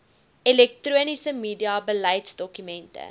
elektroniese media beleidsdokumente